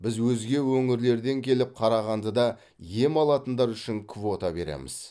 біз өзге өңірлерден келіп қарағандыда ем алатындар үшін квота береміз